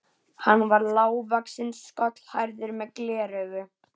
Hann var lágvaxinn, skolhærður, með gleraugu.